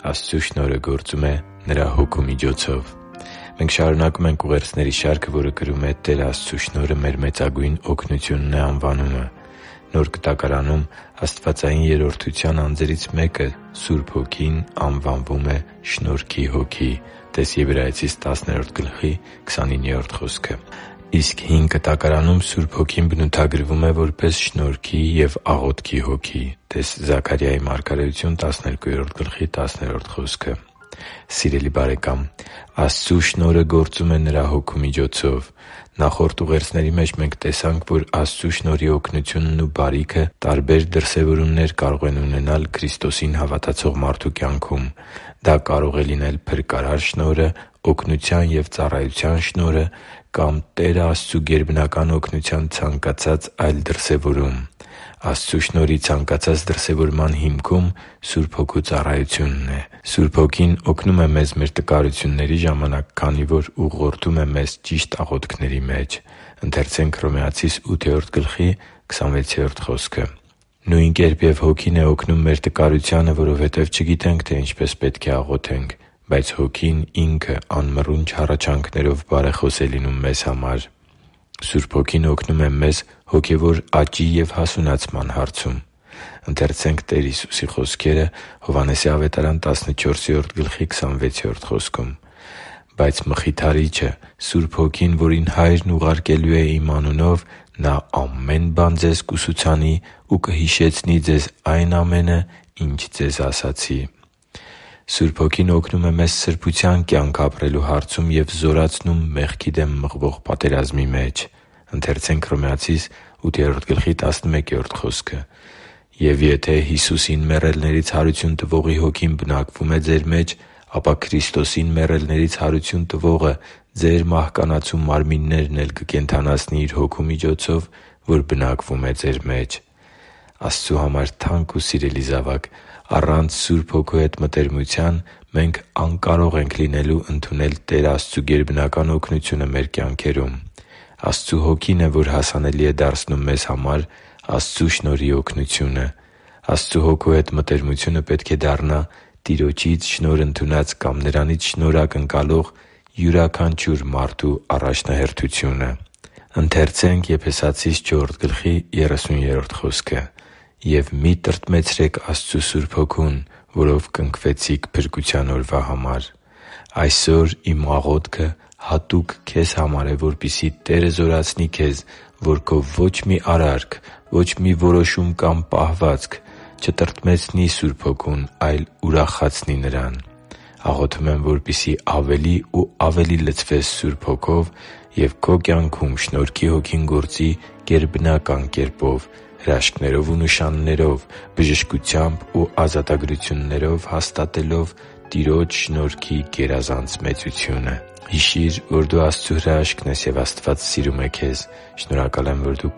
Աստծու շնորհը գործում է Նրա Հոգու միջոցով Մենք շարունակում ենք ուղերձների շարքը, որը կրում է «Տեր Աստծու շնորհը մեր մեծագույն օգնությունն է» անվանումը։ Նոր Կտակարանում աստվածային Երրորդության անձերից մեկը՝ Սուրբ Հոգին, անվանվում է շնորհքի Հոգի (տե՛ս Եբրայեցիս 10.29 խոսքը)։ Իսկ Հին Կտակարանում Սուրբ Հոգին բնութագրվում է նաև որպես շնորհքի և աղոթքի Հոգի (տե՛ս Զաքարիա 12.10 խոսքը)։ Սիրելի՛ բարեկամ, Աստծու շնորհը գործում է Նրա Հոգու միջոցով։ Նախորդ ուղերձների մեջ մենք տեսանք, որ Աստծու շնորհի օգնությունն ու բարիքը տարբեր դրսևորումներ կարող են ունենալ Քրիստոսին հավատացող մարդու կյանքում։ Դա կարող է լինել փրկարար շնորհը, օգնության և ծառայության շնորհը կամ Տեր Աստծու գերբնական օգնության ցանկացած այլ դրսևորում։ Աստծու շնորհի ցանկացած դրսևորման հիմքում Սուրբ Հոգու ծառայությունն է։ Սուրբ Հոգին օգնում է մեզ մեր տկարությունների ժամանակ, քանի որ ուղղորդում է մեզ ճիշտ աղոթքների մեջ․ «Նույն կերպ և Հոգին է օգնում մեր տկարությանը, որովհետև չգիտենք, թե ինչպես պետք է աղոթենք, բայց Հոգին Ինքը անմռունչ հառաչանքներով բարեխոս է լինում մեզ համար» (Հռոմեացիս 8․26 ՆՎԱԱ)։ Սուրբ Հոգին օգնում է մեզ հոգևոր աճի և հասունացման հարցում․ «Բայց Մխիթարիչը՝ Սուրբ Հոգին, որին Հայրն ուղարկելու է Իմ անունով, Նա ամեն բան ձեզ կուսուցանի ու կհիշեցնի ձեզ այն ամենը, ինչ ձեզ ասացի» (Հովհաննես 14․26 ՆՎԱԱ): Սուրբ Հոգին օգնում է մեզ սրբության կյանք ապրելու հարցում և զորացնում մեղքի դեմ մղվող պատերազմի մեջ․ «Եվ եթե Հիսուսին մեռելներից հարություն տվողի Հոգին բնակվում է ձեր մեջ, ապա Քրիստոսին մեռելներից հարություն տվողը ձեր մահկանացու մարմիններն էլ կկենդանացնի Իր Հոգու միջոցով, որ բնակվում է ձեր մեջ» (Հռոմեացիս 8․11 ՆՎԱԱ)։ Աստծո համար թանկ ու սիրելի՛ զավակ, առանց Սուրբ Հոգու հետ մտերմության մենք անկարող ենք լինելու ընդունել Տեր Աստծու գերբնական օգնությունը մեր կյանքերում։ Աստծու Հոգին է, որ հասանելի է դարձնում մեզ համար Աստծու շնորհի օգնությունը։ Աստծու Հոգու հետ մտերմությունը պետք է դառնա Տիրոջից շնորհ ընդունած կամ Նրանից շնորհ ակնկալող յուրաքանչյուր մարդու առաջնահերթությունը։ «Եվ մի՛ տրտմեցրեք Աստծու Սուրբ Հոգուն, որով կնքվեցիք փրկության օրվա համար» (Եփեսացիս 4․30 ՆՎԱԱ): Այսօր իմ աղոթքը հատուկ քեզ համար է, որպեսզի Տերը զորացնի քեզ, որ քո ոչ մի արարք, որոշում կամ պահվածք ոչ թե տրտմեցնի, այլ ուրախացնի Աստծու Սուրբ Հոգուն։ Աղոթում եմ, որպեսզի ավելի ու ավելի լցվես Սուրբ Հոգով և քո կյանքում Շնորհքի Հոգին գործի գերբնական կերպով՝ հրաշքներով ու նշաններով, բժշկությամբ ու ազատագրություններով հաստատելով Տիրոջ շնորհքի գերազանց մեծությունը․․․ Հիշի՛ր, որ դու Աստծո հրաշքն ես, և Աստված սիրում է քեզ։ Շնորհակալ եմ, որ դու